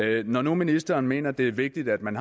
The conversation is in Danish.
det når nu ministeren mener at det er vigtigt at man